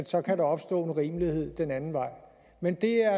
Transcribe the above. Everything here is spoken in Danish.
så kan opstå en urimelighed den anden vej men det er